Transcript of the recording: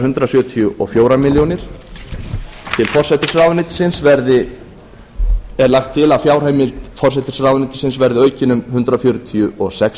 hundrað sjötíu og fjórar milljónir til forsætisráðuneytisins er lagt til að fjárheimild forsætisráðuneytisins verði aukin um hundrað fjörutíu og sex